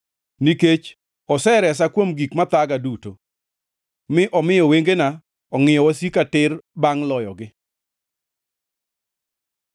Nikech oseresa kuom gik mathaga duto, mi omiyo wengena ongʼiyo wasika tir bangʼ loyogi.